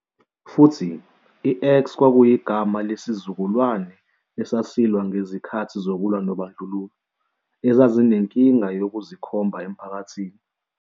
Futhi, i-X kwakuyigama lesizukulwane esasilwa ngezikhathi zokulwa nobandlululo, ezazinenkinga yokuzikhomba emphakathini.